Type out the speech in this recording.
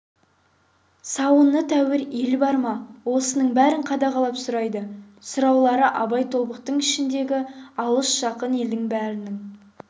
сауыны тәуір ел бар ма осының бәрін қадағалап сұрайды сұраулары абай тобықты ішіндегі алыс-жақын елдің бәрінің